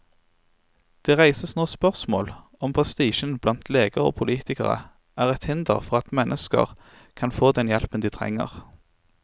Det reises nå spørsmål om prestisjen blant leger og politikere er et hinder for at mennesker kan få den hjelpen de trenger.